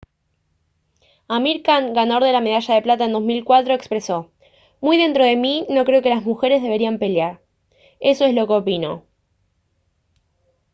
amir khan ganador de la medalla de plata en 2004 expresó: «muy dentro de mí no creo que las mujeres deberían pelear. eso es lo que opino»